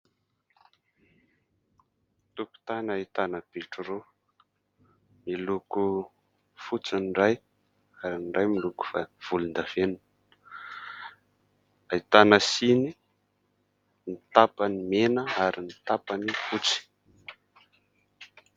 Tokotany ahitana bitro roa miloko fotsy ny iray ary ny iray miloko fa volondavenona, ahitana siny, ny tapany mena ary ny tapany fotsy.